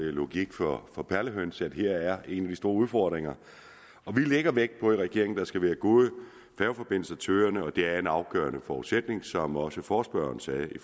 er logik for for perlehøns at her er en af de store udfordringer og vi lægger vægt på i regeringen at der skal være gode færgeforbindelser til øerne og det er en afgørende forudsætning som også forespørgeren sagde i